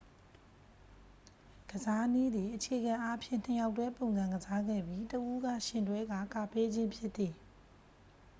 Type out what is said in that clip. ကစားနည်းသည် အခြေခံအားဖြင့် နှစ်ယောက်တွဲပုံစံကစားခဲ့ပြီး တစ် ဦးက ယှဉ်တွဲကာ ကာပေးခြင်းဖြစ်သည်